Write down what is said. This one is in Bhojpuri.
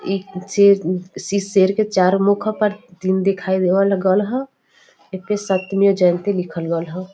ई सेर किसी सेर के चार मुख पर तीन दिखाई देवल गल ह। एपे सत्यमेव जयते लिखल गल ह।